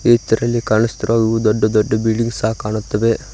ಇದರಲ್ಲಿ ಕಾಣುಸ್ತಿರುವ ದೊಡ್ಡ ದೊಡ್ಡ ಬಿಲ್ಡಿಂಗ್ ಸಹ ಕಾಣುತ್ತವೆ.